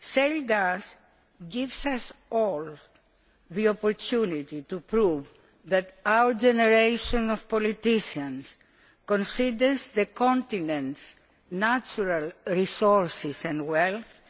Shale gas gives us all the opportunity to prove that our generation of politicians considers the continent's natural resources and wealth